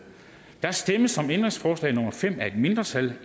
der stemmes om ændringsforslag nummer fem af et mindretal